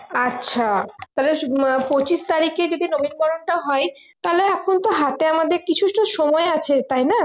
আচ্ছা তাহলে পঁচিশ তারিখে যদি নবীনবরণটা হয় তাহলে এখন তো হাতে আমাদের কিছুটা সময় আছে তাই না